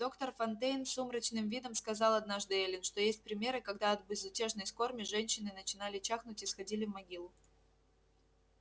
доктор фонтейн с сумрачным видом сказал однажды эллин что есть примеры когда от безутешной скорби женщины начинали чахнуть и сходили в могилу